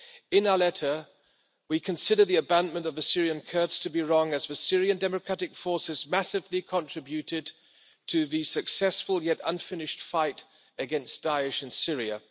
In our letter, we consider the abandonment of the Syrian Kurds to be wrong as the Syrian Democratic Forces massively contributed to the successful yet unfinished fight against Daesh in Syria.